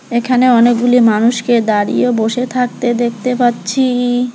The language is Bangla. এখানে অনেকগুলি মানুষকে দাঁড়িয়ে বসে থাকতে দেখতে পাচ্ছি।